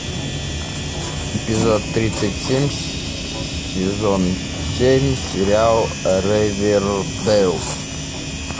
эпизод тридцать семь сезон семь сериал ривердейл